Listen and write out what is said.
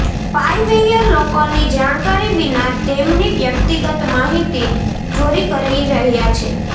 spyware લોકોની જાણકારી વિના તેમની વ્યક્તિગત માહિતી ચોરી કરી રહ્યા છે